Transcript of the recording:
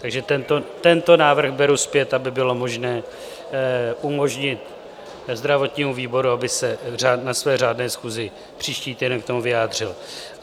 Takže tento návrh beru zpět, aby bylo možné umožnit zdravotnímu výboru, aby se na své řádné schůzi příští týden k tomu vyjádřil.